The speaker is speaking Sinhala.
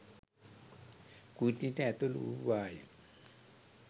කුටියට ඇතුළු වූවාය.